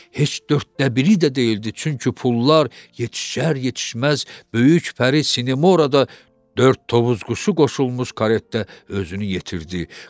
Heç dörddə biri də deyildi, çünki pullar yetişər-yetişməz, böyük Pəri Sinemora da dörd Tovuz quşu qoşulmuş karetdə özünü yetirdi.